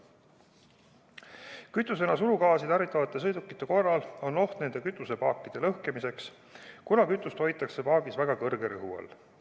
Kütusena surugaasi tarvitavate sõidukite korral on oht nende kütusepaakide lõhkemiseks, kuna kütust hoitakse paagis väga kõrge rõhu all.